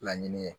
Laɲini ye